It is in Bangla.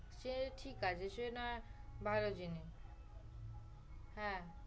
চেয়েছি কাজে সেনা ভালো জিনিস